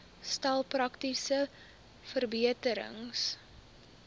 stel praktiese verbeterings